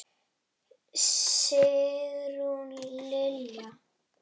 Sigrún Lilja.